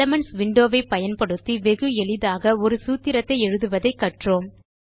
elements window பயன்படுத்தி வெகு எளிதாக ஒரு சூத்திரத்தை எழுதுவதை கற்றோம்